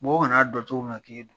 Mɔgɔ ka na dɔ cogo min na k'e don.